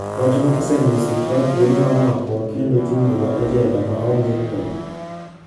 Wachno osemiyo sirkal thuolo mar makowa kendo chungowa e jela ma onge ng'wono.